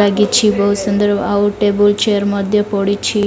ଲାଗିଛି ବହୁତ ସୁନ୍ଦର ଆଉ ଟେବୁଲ ଚେୟାର ମଧ୍ୟ ପଡ଼ିଛି।